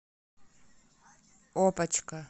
опочка